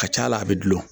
Ka ca ala bɛ dulon